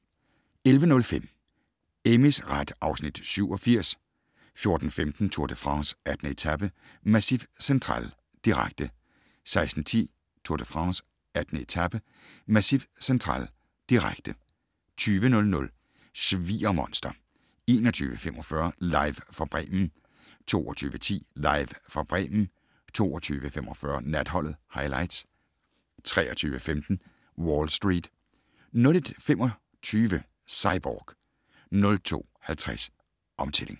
11:05: Amys ret (Afs. 87) 14:15: Tour de France: 18. etape - Massif Central, direkte 16:10: Tour de France: 18. etape - Massif Central, direkte 20:00: Sviger-monster 21:45: Live fra Bremen 22:10: Live fra Bremen 22:45: Natholdet - Highlights 23:15: Wall Street 01:25: Cyborg 02:50: Omtælling!